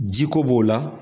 Ji ko b'o la